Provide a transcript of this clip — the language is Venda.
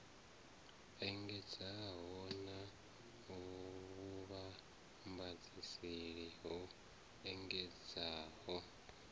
engedzeaho na vhuvhambadzaseli ho engedzeaho